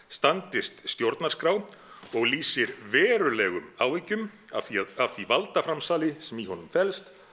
standist stjórnarskrá og lýsir verulegum áhyggjum af því af því valdaframsali sem í honum felst